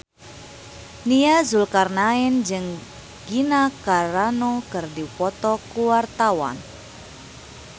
Nia Zulkarnaen jeung Gina Carano keur dipoto ku wartawan